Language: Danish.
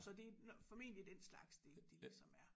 Så det formentlig den slags det lidt de ligesom er